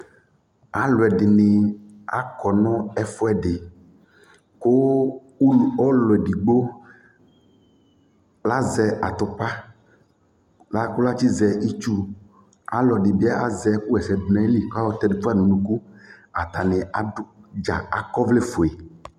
Alʋ ɛdɩnɩ akɔ nʋ ɛfʋɛdɩ kʋ ulu ɔlʋ edigbo azɛ atʋpa kʋ atsɩzɛ itsu Ɔlɔdɩ bɩ azɛ ɛkʋɣaɛsɛdʋ nʋ ayili kʋ ayɔtɛ dʋ fa nʋ unuku Atanɩ adʋ dza akɔ ɔvlɛfue